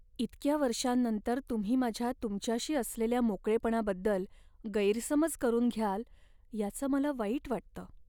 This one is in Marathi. इतक्या वर्षांनंतर तुम्ही माझ्या तुमच्याशी असलेल्या मोकळेपणाबद्दल गैरसमज करून घ्याल याचं मला वाईट वाटतं.